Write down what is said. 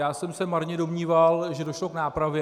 Já jsem se marně domníval, že došlo k nápravě.